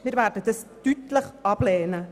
Wir werden diese Kürzung deutlich ablehnen.